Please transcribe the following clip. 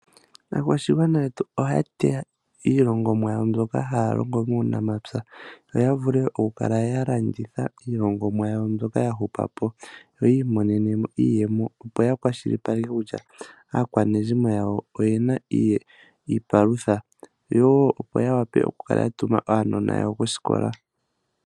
Aakwashigwana yetu ohaya teya iilongomwa yawo mbyoka haya longo muunamapya. Yo ya vule oku kala ya landitha iilongomwa yawo mbyoka ya hupako yo ya imone nemo iiyemo opo ya kwashilipaleke kutya aakwanezimo yawo oye na iipalutha. Yo opo yawape oku kala ya tuma aanona yawo koosikola.